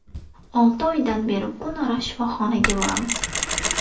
Olti oydan beri kunora shifoxonaga boramiz.